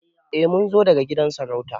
Eh Mun zo daga gidan sarauta.